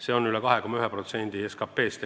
See on üle 2,1% SKP-st.